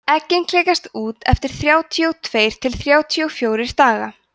eggin klekjast út eftir þrjátíu og tveir til þrjátíu og fjórir daga